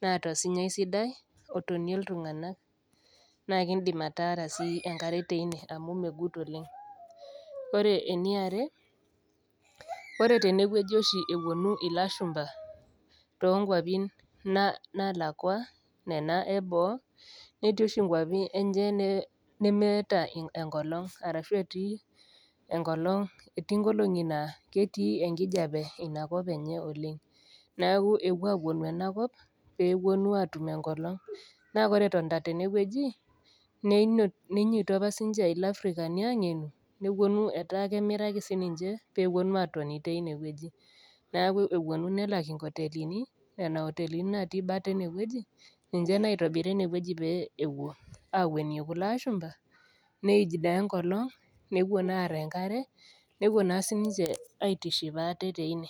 naata osinyai sidai, otonie iltunganak, naa indim ataara enkare teine amu megut oleng'. Ore ene are ore ene wueji oshi ewuonu ilashumba toonkwapi naalakwa anaa neboo, netii oshi inkwapi enye nemeata enkolong' ashu etii enkolong' naa etii enkijape ina kop enye oleng' neaku epuo aapuonu en kop pee epuonu atum enkolong', naa ore etonita tenewueji, neinyoito opa ilafrikani opa sii ninche aangenu, nepuonu etaa kemiraki sininche pee epuonu atoni teine wueji, neaku epuonu nelak inkotelini nena otelini naati bata ene wueji ninche naitobira ene wueji peyie ewuo awuenie kulo aashumba neij naa enkolong' nepuo naa aar enkare nepuo naa sininche aitiship aate teine.